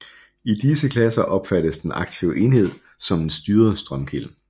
I disse klasser opfattes den aktive enhed som en styret strømkilde